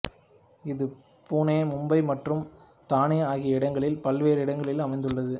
இது புனே மும்பை மற்றும் தானே ஆகிய இடங்களில் பல்வேறு இடங்களில் அமைந்துள்ளது